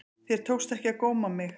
Þér tókst ekki að góma mig.